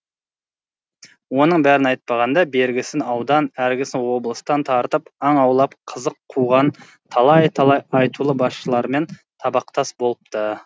оның бәрін айтпағанда бергісі аудан әргісі облыстан тартып аң аулап қызық қуған талай талай айтулы басшылармен табақтас болыпты